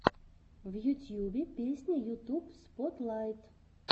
в ютьюбе песня ютуб спотлайт